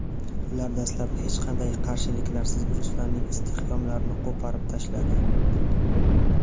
Ular dastlab hech qanday qarshiliksiz ruslarning istehkomlarini qo‘porib tashladi.